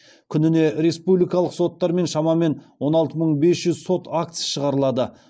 күніне республикалық соттармен шамамен он алты мың бес жүз сот актісі шығарылады